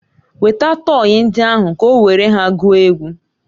Weta tọyị ndị ahụ ka o were ha gwuo egwu!